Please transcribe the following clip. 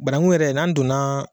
Banaku yɛrɛ n'an donna.